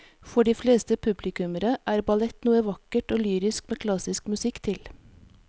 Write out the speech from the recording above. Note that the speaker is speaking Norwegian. For de fleste publikummere er ballett noe vakkert og lyrisk med klassisk musikk til.